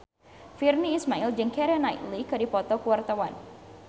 Virnie Ismail jeung Keira Knightley keur dipoto ku wartawan